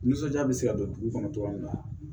Nisɔndiya bɛ se ka don dugu kɔnɔ cogo min na